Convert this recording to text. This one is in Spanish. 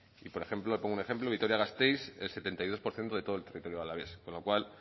y por ejemplo le pongo un ejemplo vitoria gasteiz el setenta y dos por ciento de todo el territorio alavés con lo cual